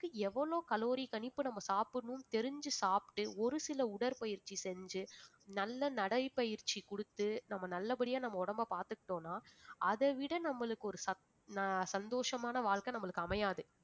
எவ்வளவு calorie கணிப்பு நம்ம சாப்பிடணும்னு தெரிஞ்சு சாப்பிட்டு ஒரு சில உடற்பயிற்சி செஞ்சு நல்ல நடை பயிற்சி கொடுத்து நம்ம நல்லபடியா நம்ம உடம்பை பாத்துட்டோன்னா, அதைவிட நம்மளுக்கு ஒரு சத்~ சந்தோஷமான வாழ்க்கை நம்மளுக்கு அமையாது